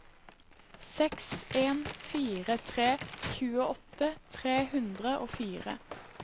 seks en fire tre tjueåtte tre hundre og fire